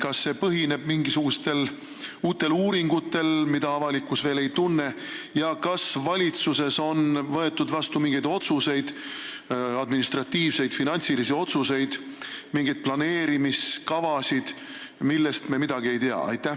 Kas see väide põhineb mingisugustel uutel uuringutel, mida avalikkus veel ei tunne, ja kas valitsuses on võetud vastu mingeid otsuseid, administratiivseid või finantsilisi otsuseid, mingeid planeerimiskavasid, millest meie midagi ei tea?